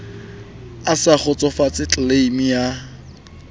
a sa kgotsofatse tleleime ya